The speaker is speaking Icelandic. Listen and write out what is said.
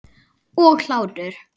Og hlátur.